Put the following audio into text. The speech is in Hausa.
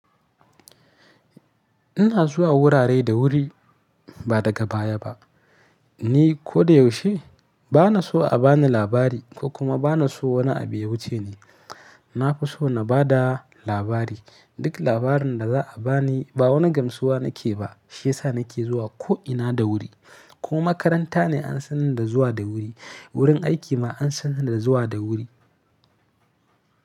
Ina zuwa wurare da wuri ba daga baya ba. Ni ko da yaushe bana so a bani labari ko kuma bana so wani abu ya wuce ni. Na fi so na ba da labari. Duk labarin da za a ba ni ba wani gamsuwa nake ba, shi ya sa nake zuwa ko ina da wuri. Ko makaranta ne an san ni da zuwa da wuri, wurin aiki ma an san ni da zuwa da wuri.